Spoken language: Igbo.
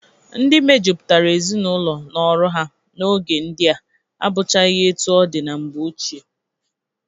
Ndị mejupụtara ezinaụlọ na ọrụ ha n'oge ndịa abụchaghị etu ọ dị na mgbe ochie.